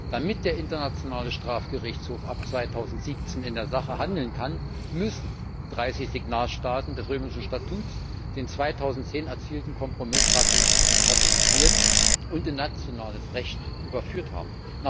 Damit der Internationale Strafgerichtshof ab 2017 in der Sache handeln kann, müssen 30 Signatarstaaten des Römischen Statuts den 2010 erzielten Kompromiss ratifiziert und in nationales Recht überführt haben.